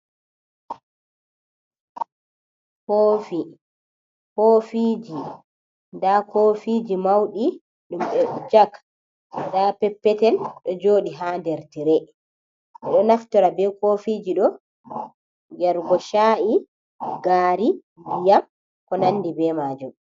Koofi, koofiji, nda kofiji mauɗi ɗum ɓe jag, nda peppetel ɗo jooɗi ha nder tire, ɓe ɗo naftira be koofiji ɗo yargo cha’i, gaari, ndiyam ko nandi be majum.